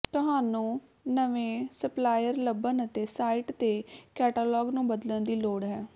ਤੁਹਾਨੂੰ ਨਵੇਂ ਸਪਲਾਇਰ ਲੱਭਣ ਅਤੇ ਸਾਈਟ ਤੇ ਕੈਟਾਲਾਗ ਨੂੰ ਬਦਲਣ ਦੀ ਲੋੜ ਹੈ